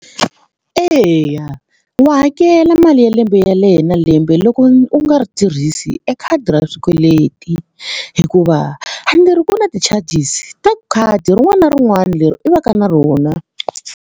Eya wa hakela mali ya lembe na lembe loko u nga ri tirhisi e khadi ra swikweleti hikuva a ni ri ku na ti-charges ta khadi rin'wana na rin'wana leri i va ka na rona.